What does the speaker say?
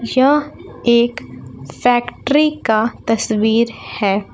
यह एक फैक्ट्री का तस्वीर है।